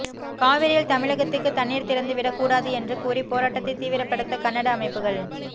காவிரியில் தமிழகத்துக்குத் தண்ணீர் திறந்து விடக் கூடாது என்று கூறி போராட்டத்தைத் தீவிரப்படுத்த கன்னட அமைப்புகள்